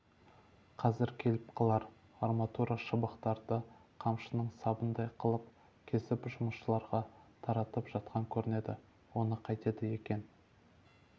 қазір келіп қалар арматура шыбықтарды қамшының сабындай қылып кесіп жұмысшыларға таратып жатқан көрінеді оны қайтеді екен